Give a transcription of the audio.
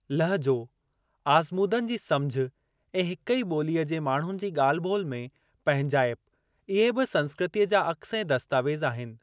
लहजो, आज़मूदनि जी सम्झ ऐं हिक ई ॿोलीअ जे माण्हुनि जी ॻाल्हि-ॿोलि में पंहिंजाइप, इहे बि संस्कृतीअ जा अक्स ऐं दस्तावेज़ आहिनि।